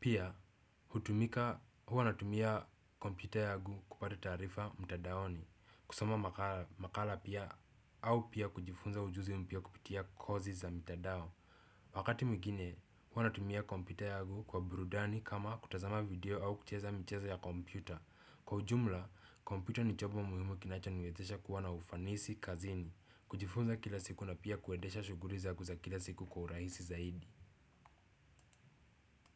Pia, hutumika huwa natumia kompyuta yangu kupata taarifa mtandaoni. Kusoma makala pia au pia kujifunza ujuzi mpya kupitia kozi za mitandao. Wakati mginye, huwa natumia kompyuta yangu kwa burudani kama kutazama video au kucheza michezo ya kompyuta. Kwa ujumla, kompyuta ni chombo muhimu kinachoniwezesha kuwa na ufanisi kazini, kujifunza kila siku na pia kuendesha shughuli zangu za kila siku kwa urahisi zaidi.